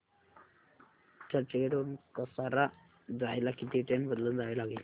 चर्चगेट वरून कसारा जायला किती ट्रेन बदलून जावे लागेल